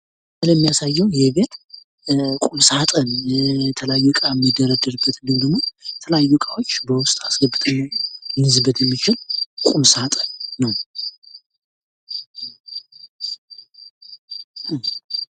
ይሄ የሚያሳየው ይሄ ቤት ቁም ሳጥን የተለያዩ እቃ ሚደረደርበት ወይም የተለያዩ እቃዎች በውስጥ አስገብተን ልኝዝበት የምንችል ቁም ሳጥን ነው።